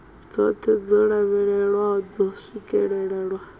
dzoṱhe dzo lavhelelwaho dzo swikelelwa